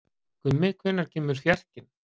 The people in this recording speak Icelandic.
Gummi, hvenær kemur fjarkinn?